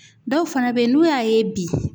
Dɔw fana bɛ yen n'u y'a ye bi